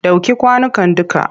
Ɗauke kwanukan dukka!